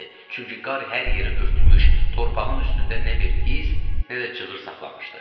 Çünki qar hər yeri örtmüş, torpağın üstündə nə bir iz, nə də cığır saxlamışdı.